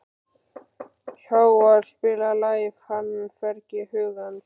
Hávarr, spilaðu lagið „Fannfergi hugans“.